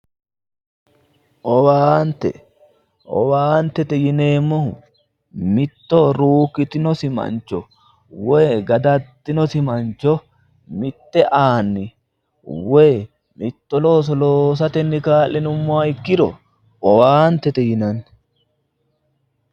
Owaante, owaante yineemmohu mitto ruukkitinosi mancho woy gadaddinosi mancho mitte aani woy mitto looso loosatenni kaa'linummoha ikkiro owaantete yinanni.